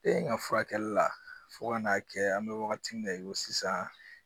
E in ka furakɛli la fo ka n'a kɛ an bɛ wagati min na i ko sisan